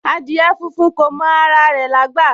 Adìẹ funfun kò mọ ara rẹ̀ lágbà